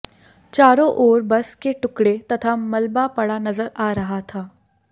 चारो ओर बस के टुकड़े तथा मलबा पड़ा नजर आ रहा था